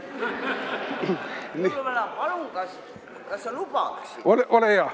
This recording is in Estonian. Jõuluvana, palun, kas sa lubaksid?